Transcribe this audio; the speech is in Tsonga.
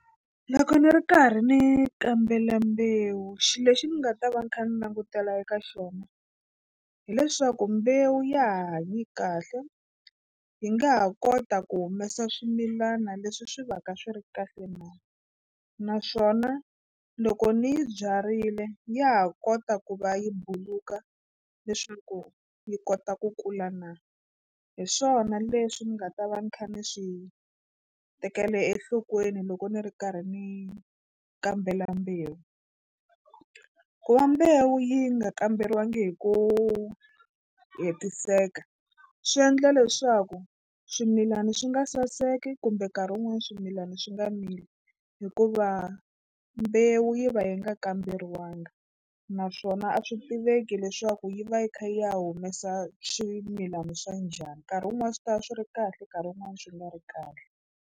Loko ni ri karhi ni kambela mbewu xilo lexi ni nga ta va ni kha ni langutela eka xona hileswaku mbewu ya ha hanye kahle yi nga ha kota ku humesa swimilana leswi swi va ka swi ri kahle na naswona loko ni byarile ya ha kota ku va yi buluka leswaku yi kota ku kula na hi swona leswi ni nga ta va ni kha ni swi tekela enhlokweni loko ni ri karhi ni kambela mbewu. Ku va mbewu yi nga kamberiwangi hi ku hetiseka swi endla leswaku swimilana swi nga saseki kumbe nkarhi wun'wani swimilana swi nga mili hikuva mbewu yi va yi nga kamberiwangi naswona a swi tiveki leswaku yi va yi kha yi ya humesa swimilana swa njhani nkarhi wun'wani swi ta va swi ri kahle nkarhi wun'wani swi nga ri kahle.